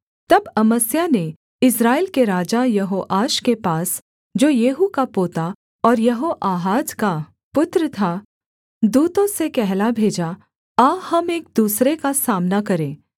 तब अमस्याह ने इस्राएल के राजा यहोआश के पास जो येहू का पोता और यहोआहाज का पुत्र था दूतों से कहला भेजा आ हम एक दूसरे का सामना करें